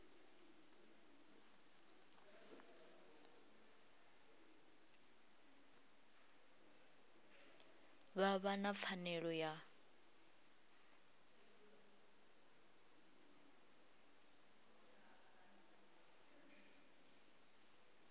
vha vha na pfanelo ya